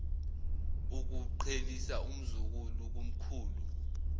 ukuqhelisa umzukulu kumkhulu